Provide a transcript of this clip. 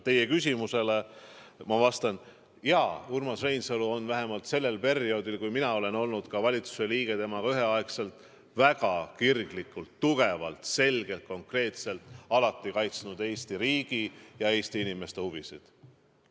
Teie küsimusele ma vastan: jaa, Urmas Reinsalu on vähemalt sel perioodil, kui mina olen olnud valitsuse liige temaga üheaegselt, väga kirglikult, tugevalt, selgelt, konkreetselt kaitsnud Eesti riigi ja Eesti inimeste huvisid.